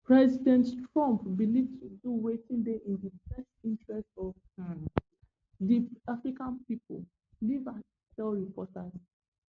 president trump believe to do wetin dey in di best interest of um di american pipo leavitt tell reporters